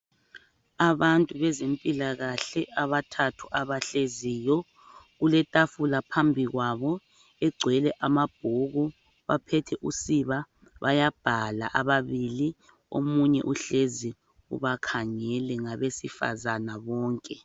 Abantu bezempilakahle abathathu abahleziyo kuletafula phambikwabo egcwele amabhuku baphethe usiba bayabhala ababili omunye uhlezi ubakhangele ngabesifazana bonke.